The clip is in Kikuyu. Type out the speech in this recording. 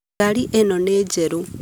Ngari ĩno nĩ njerũ